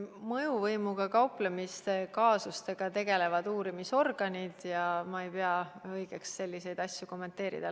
Mõjuvõimuga kauplemise kaasustega tegelevad uurimisorganid ja ma ei pea õigeks selliseid asju kommenteerida.